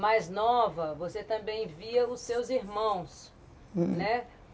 mais nova, você também via os seus irmãos, né?